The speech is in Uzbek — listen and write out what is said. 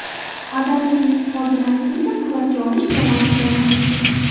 Adanaga yetib borgan aktrisa suratga olish jamoasi bilan tanishgan.